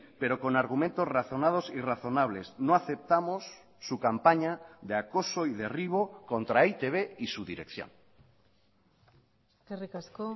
pero con argumentos razonados y razonables no aceptamos su campaña de acoso y derribo contra e i te be y su dirección eskerrik asko